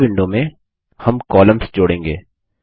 अगली विंडो मेंहम कॉलम्स जोड़ेंगे